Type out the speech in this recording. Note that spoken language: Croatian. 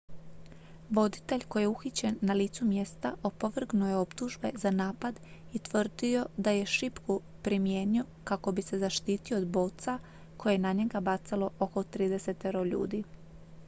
voditelj koji je uhićen na licu mjesta opovrgnuo je optužbe za napad i tvrdio da je šipku primijenio kako bi se zaštitio od boca koje je na njega bacalo oko tridesetero ljudi